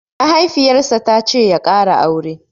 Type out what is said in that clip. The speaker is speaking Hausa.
Mahaifiyar sa tace ya ƙara aure